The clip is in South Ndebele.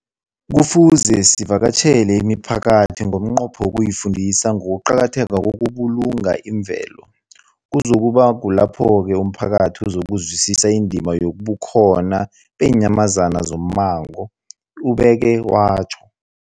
Kufuze sivakatjhele imiphakathi ngomnqopho wokuyifundisa ngokuqakatheka kokubulunga imvelo. Kuzoku ba kulapho-ke umphakathi uzokuzwisisa indima yobukhona beenyamazana zommango, ubeke watjho.